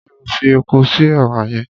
Ṣé o fi epo sí èwà yẹn?